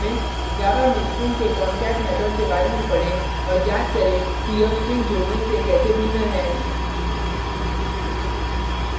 java में strings के concat method के बार में पढ़ें और ज्ञात करें कि यह strings जोड़ने से कैसे भिन्न है